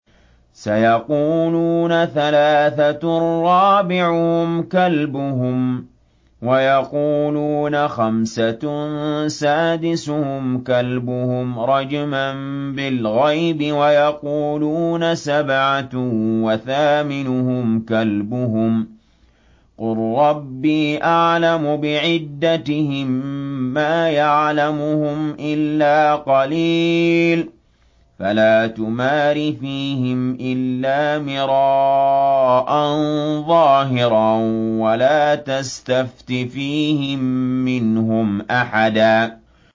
سَيَقُولُونَ ثَلَاثَةٌ رَّابِعُهُمْ كَلْبُهُمْ وَيَقُولُونَ خَمْسَةٌ سَادِسُهُمْ كَلْبُهُمْ رَجْمًا بِالْغَيْبِ ۖ وَيَقُولُونَ سَبْعَةٌ وَثَامِنُهُمْ كَلْبُهُمْ ۚ قُل رَّبِّي أَعْلَمُ بِعِدَّتِهِم مَّا يَعْلَمُهُمْ إِلَّا قَلِيلٌ ۗ فَلَا تُمَارِ فِيهِمْ إِلَّا مِرَاءً ظَاهِرًا وَلَا تَسْتَفْتِ فِيهِم مِّنْهُمْ أَحَدًا